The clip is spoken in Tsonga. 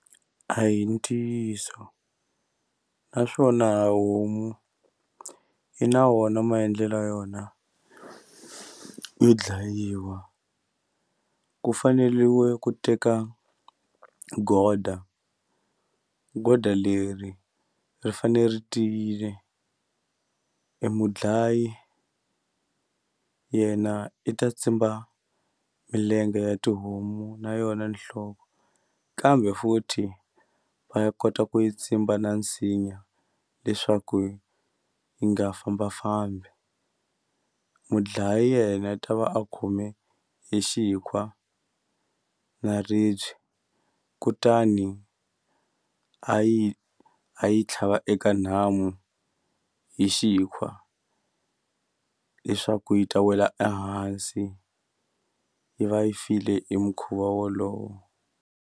A hi ntiyiso naswona homu yi na wona maendlelo ya yona yo dlayiwa ku faneriwe ku teka goda goda leri ri fanele ri tiyile e mudlayi yena i ta tsimba milenge ya tihomu na yona nhloko kambe futhi va ya kota ku yi tsimba na nsinya leswaku yi nga fambafambi mudlayi yena i ta va a khome e xikhwa na ribye kutani a yi a yi tlhava eka nhamu hi xikhwa leswaku yi ta wela ehansi yi va yi file hi mukhuva wolowo.